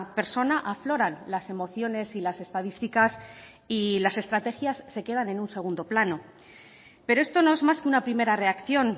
persona afloran las emociones y las estadísticas y las estrategias se quedan en un segundo plano pero esto no es más que una primera reacción